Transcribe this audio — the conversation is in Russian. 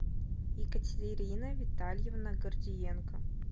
екатерина витальевна гордиенко